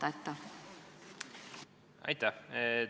Aitäh!